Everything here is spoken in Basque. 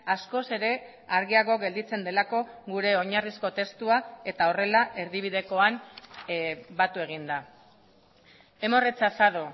askoz ere argiago gelditzen delako gure oinarrizko testuak eta horrela erdibidekoan batu egin da hemos rechazado